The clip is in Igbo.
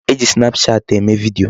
E ji snapchat eme video.